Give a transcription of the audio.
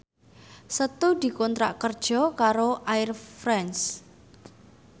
Setu dikontrak kerja karo Air France